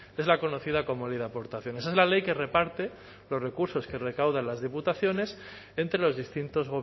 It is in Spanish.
es la conocida como ley de aportaciones es la ley que reparte los recursos que recaudan las diputaciones entre los distintos